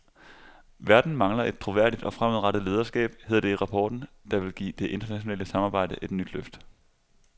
Verden mangler et troværdigt og fremadrettet lederskab, hedder det i rapporten, der vil give det internationale samarbejde et nyt løft.